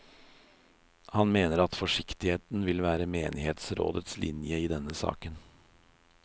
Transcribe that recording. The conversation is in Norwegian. Han mener at forsiktigheten vil være menighetsrådets linje i denne saken.